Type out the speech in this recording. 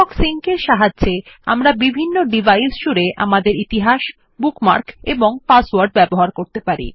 Firefox sync এর সাহায্যে আমরা বিভিন্ন ডিভাইস জুড়ে আমাদের ইতিহাস বুকমার্ক এবং পাসওয়ার্ড ব্যবহার করতে পারি